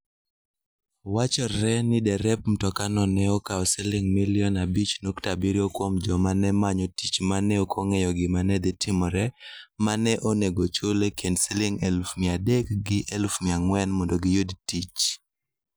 Wachore ni derep mtokano ne okawo siling' milion 5.7 kuom joma ne manyo tich ma ne ok ong'eyo gima ne dhi timore, ma ne onego ochul e kind siling' 300,000 gi 400,000 mondo giyud tich.